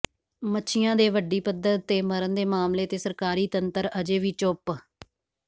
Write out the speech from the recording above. ਮੱਛੀਆਂ ਦੇ ਵੱਡੀ ਪੱਧਰ ਤੇ ਮਰਨ ਦੇ ਮਾਮਲੇ ਤੇ ਸਰਕਾਰੀ ਤੰਤਰ ਅਜੇ ਵੀ ਚੁੱਪ